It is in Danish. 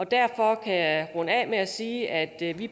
derfor kan jeg runde af med at sige at vi